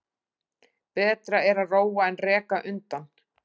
Betra er að róa en reka undan.